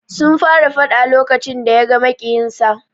Sun fara fada lokacin da yaga maƙiyinsa.